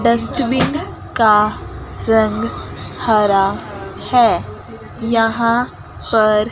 Dustbin का रंग हरा है यहां पर।